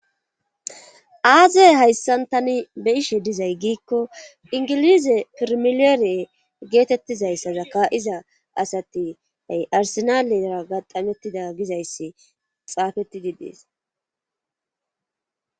aazie hayssan tani be ishe dizay giikko ingilize pirmileere geetettizayssazaka7iza asati ay arsenalera gaxamettida gizayssi xaafetidi dees